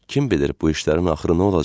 Kim bilir bu işlərin axırı nə olacaqdı?